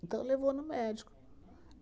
Então, levou no médico.